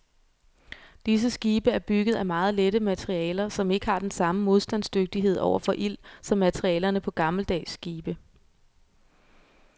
Disse skibe er bygget af meget lette materialer, som ikke har den samme modstandsdygtighed over for ild som materialerne på gammeldags skibe.